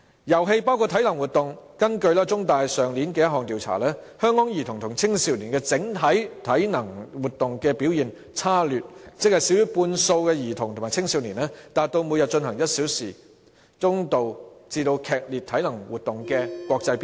遊戲包括體能活動，根據香港中文大學去年一項調查，香港兒童和青少年的整體體能活動表現差劣，少於半數的兒童和青少年達到每天進行1小時中度至劇烈體能活動的國際標準。